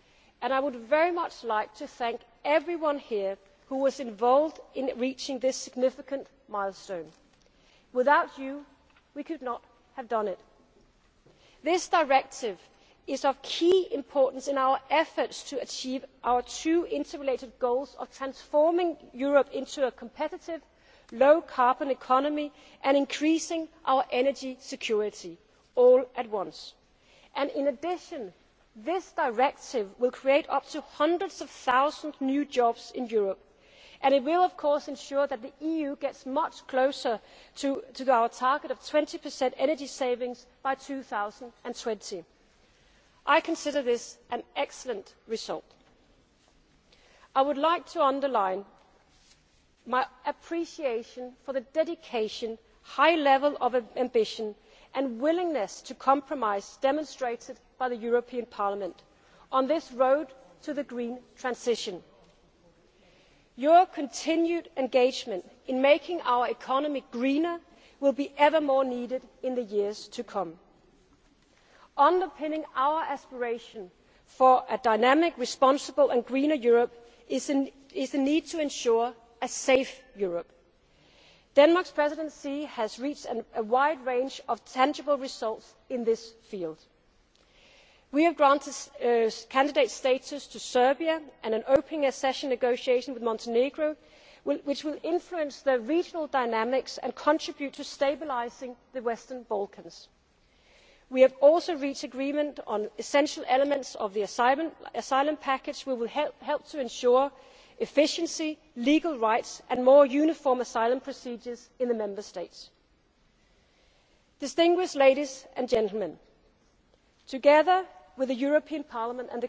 good deal of flexibility, patience and hard work on both sides, and I would like to thank everyone here who was involved in reaching this significant milestone. Without you we could not have done it. This directive is of key importance in our efforts to achieve our two interrelated goals, of transforming Europe into a competitive, low carbon economy and increasing our energy security, all at once. In addition, the directive will create up to hundreds of thousands of new jobs in Europe, and it will of course ensure that the EU gets much closer to our target of 20 energy savings by 2020. I consider this an excellent result. I would like to underline my appreciation of the dedication, high level of ambition, and willingness to compromise demonstrated by the European Parliament on this road to the green transition. Your continued engagement in making our economy greener will be ever more needed in the years to come. Underpinning our aspiration for a dynamic, responsible and greener Europe is the need to ensure a safe Europe. Denmark's Presidency has reached a wide range of tangible results in this field. We have granted candidate status to Serbia and are opening accession negotiations with Montenegro, which will influence the regional dynamics and contribute to stabilising the Western Balkans. We have also reached agreement on essential elements of the asylum package, which will help ensure efficiency, legal rights and more uniform asylum procedures in the Member States. Together with Parliament and the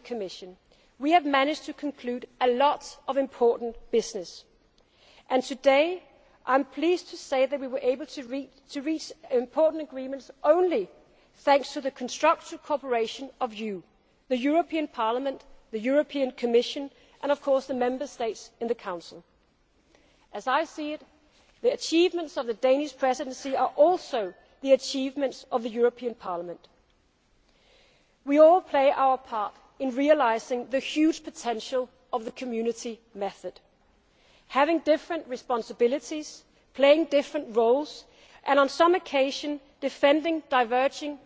Commission, we have managed to conclude a lot of important business. And today I am pleased to say that we were able to reach important agreements only thanks to constructive cooperation with you the Parliament, with the Commission and, of course, with the Member States in the Council. As I see it, the achievements of the Danish Presidency are also the achievements of the European Parliament. We all play our part in realising the huge potential of the Community method. Having different responsibilities, playing different roles, and on some occasions defending diverging